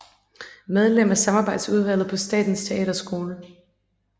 Medlem af samarbejdsudvalget på Statens Teaterskole